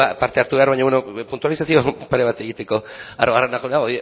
parte hartu behar baina bueno baina puntualizazio pare bat egiteko arruabarrena jauna